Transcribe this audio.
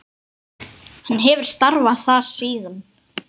Hann hefur starfað þar síðan.